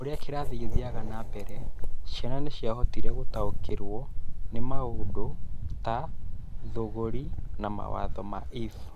O ũrĩa kĩrathi gĩathiaga na mbere, ciana nĩ ciahotire gũtaũkĩrũo nĩ maũndũ ta tũthũngũri na mawatho ma if.